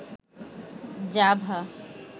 Java